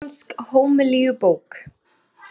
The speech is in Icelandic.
Íslensk hómilíubók.